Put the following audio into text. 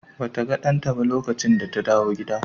Ba ta ga ɗanta ba lokacin da ta dawo gida.